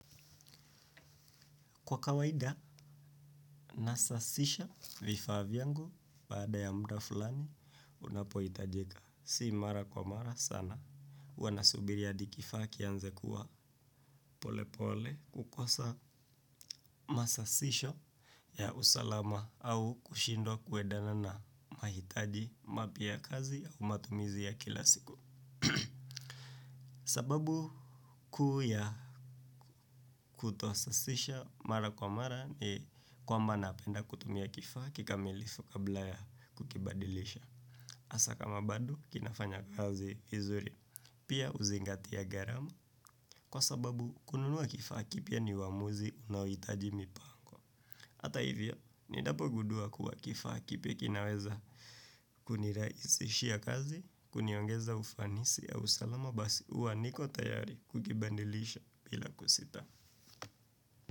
Kwa kawaida, nasasisha vifaa vyangu, baada ya muda fulani, unapohitajika. Si mara kwa mara sana. Huwa nasubiri hadi kifaa kianze kuwa pole pole kukosa masasisho ya usalama au kushindwa kwendana na mahitaji mapya ya kazi au matumizi ya kila siku. Sababu kuu ya kutosasisha mara kwa mara ni kwamba napenda kutumia kifaa kikamilifu kabla ya kukibadilisha asa kama bado kinafanya kazi vizuri pia huzingatia gharama. Kwa sababu kununua kifaa kipya ni uamuzi unaohitaji mipango. Ata hivyo ninapogundua kuwa kifaa kipya kinaweza kunirahisishia kazi. Kuniongeza ufanisi au usalama basi huwa niko tayari kukibadilisha bila kusita.